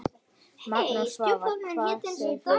Magnús: Svavar, hvað segir þú?